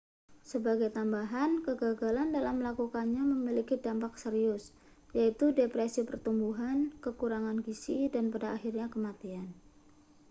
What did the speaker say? sebagai tambahan kegagalan dalam melakukannya memiliki dampak serius yaitu depresi pertumbuhan kekurangan gizi dan pada akhirnya kematian